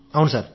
అవును సార్